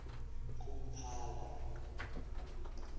kumphala